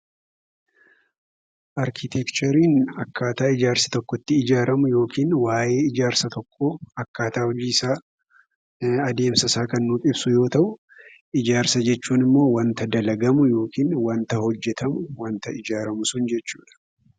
Arkiteekchariin akkaataa ijaarsi tokko itti ijaaramu yookaan waayyee waanta tokko akkaataa hojii isaa, adeemsa isaa itti ijaaramu yookaan ijaarsa jechuun immoo akkaataa isaa adeemsa isaa ijaarsa jechuun waanta hojjetamu.